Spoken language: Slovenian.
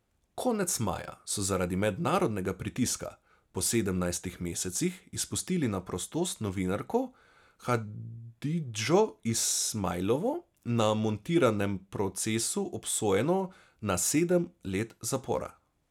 Konec maja so zaradi mednarodnega pritiska po sedemnajstih mesecih izpustili na prostost novinarko Hadidžo Ismajlovo, na montiranem procesu obsojeno na sedem let zapora.